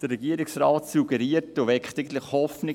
Der Regierungsrat suggeriert und weckt eigentlich Hoffnungen.